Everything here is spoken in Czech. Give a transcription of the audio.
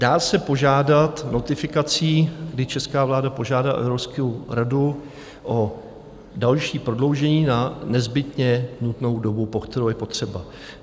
Dá se požádat notifikací, kdy česká vláda požádá Evropskou radu o další prodloužení na nezbytně nutnou dobu, po kterou je potřeba.